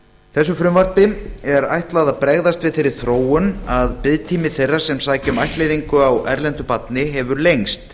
þessu frumvarpi er ætlað að bregðast við þeirri þróun að biðtími þeirra sem sækja um ættleiðingu á erlendu barni hefur lengst